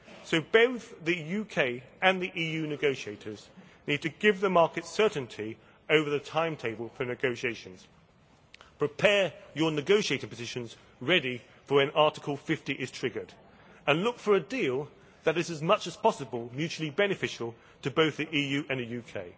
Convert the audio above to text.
So both the UK and the EU negotiators need to give the markets certainty over the timetable for negotiations prepare your negotiating positions ready for when Article 50 is triggered, and look for a deal that is, as much as possible, mutually beneficial to both the EU and the UK.